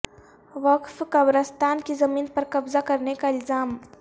وقف قبرستان کی زمین پر قبضہ کرنے کا الزام